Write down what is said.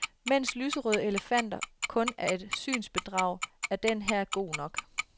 Mens lyserøde elefanter kun er et synsbedrag, er den her god nok.